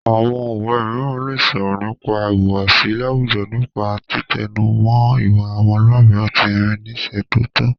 Àwọn òwe mìíràn lè sọ̀rọ̀ nípa ìhùwàsí láwùjọ nípa títẹnumọ́ ìwà ọmọlúàbí àti ìrínisí tó tọ́